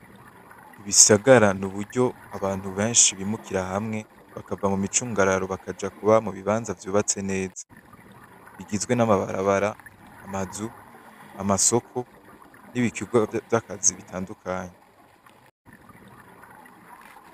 Ibisagara n'uburyo abantu benshi bimukira hamwe, bakava mumicungararo bakaja kuba mubibanza vyubatse neza. Bigizwe namabarabara, amazu, amasoko nibikorwa vyakazi bitandukanye.